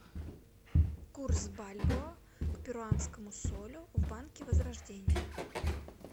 курс бальбоа к перуанскому солю в банке возрождение